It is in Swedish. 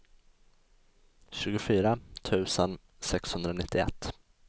tjugofyra tusen sexhundranittioett